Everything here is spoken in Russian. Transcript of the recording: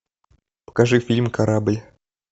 покажи фильм корабль